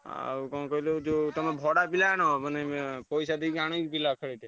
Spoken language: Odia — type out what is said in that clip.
ଆଉ କଣ କହିଲ ଯୋଉ ତମେ ଭଡା ପିଲା ଆଣ ମାନେ ପଇସା ଦେଇକି ଅନ୍ୟ ପିଲା ଖେଳେଇବ।